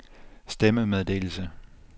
stemmemeddelelse